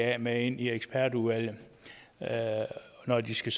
da med ind i ekspertudvalget når de skal